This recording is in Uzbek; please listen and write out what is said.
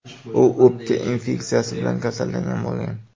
U o‘pka infeksiyasi bilan kasallangan bo‘lgan.